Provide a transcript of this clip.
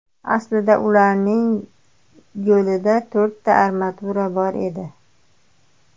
Aslida ularning qo‘lida to‘rtta armatura bor edi.